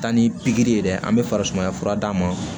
Taa ni pikiri ye dɛ an bɛ farisumaya fura d'a ma